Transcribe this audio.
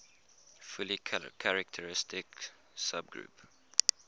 fully characteristic subgroup